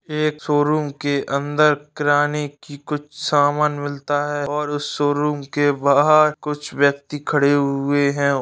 एक शोरूम के अंदर किराने की कुछ समान मिलता है और उस शोरूम के बाहर कुछ व्यक्ति खड़े हुए हैं।